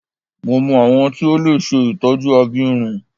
Mo mọ awọn tí o lè ṣe itọju abirùn.